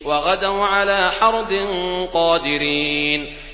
وَغَدَوْا عَلَىٰ حَرْدٍ قَادِرِينَ